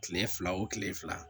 Kile fila o kile fila